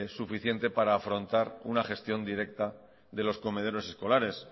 suficiente para afrontar una gestión directa de los comedores escolares